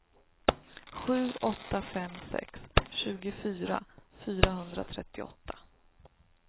sju åtta fem sex tjugofyra fyrahundratrettioåtta